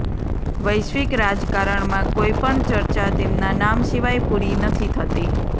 વૈશ્વિક રાજકારણમાં કોઈપણ ચર્ચા તેમના નામ સિવાય પૂરી નથી થતી